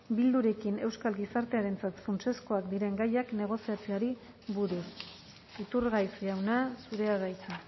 bildurekin euskal gizartearentzat funtsezkoak diren gaiak negoziazioari buruz iturgaiz jauna zurea da hitza